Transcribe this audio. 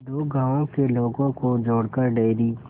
दो गांवों के लोगों को जोड़कर डेयरी